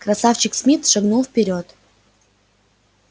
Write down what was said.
красавчик смит шагнул вперёд